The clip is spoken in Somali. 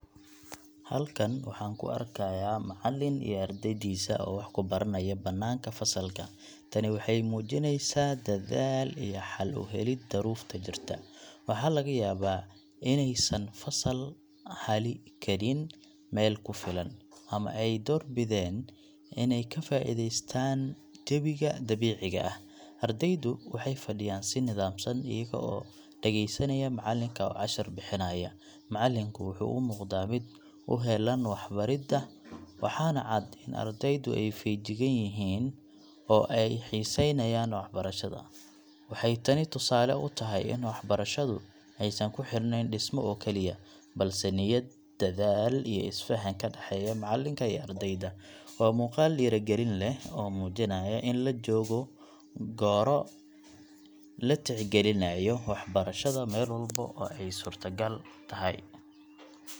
Halkan waxaan ka arkayaa macallin iyo ardaydiisa oo wax ku baranaya bannaanka fasalka. Tani waxay muujinaysaa dadaal iyo xal u helid duruufta jirta. Waxaa laga yaabaa inaysan fasal heli karin meel ku filan, ama ay doorbideen inay ka faa’iideystaan jawiga dabiiciga ah .Ardeydu waxay fadhiyaan si nidaamsan, iyaga oo dhegeysanaya macallinka oo cashar bixinaya. Macallinku wuxuu u muuqdaa mid u heellan waxbaridda, waxaana cad in ardaydu ay feejigan yihiin oo ay xiisaynayaan waxbarashada. Waxay tani tusaale u tahay in waxbarashadu aysan ku xirnayn dhismo oo keliya, balse niyad, dadaal, iyo isfahan ka dhexeeya macallinka iyo ardayda. Waa muuqaal dhiirrigelin leh oo muujinaya in la joogo gooro la tixgelinayo waxbarashada meel walba oo ay suurtagal tahay.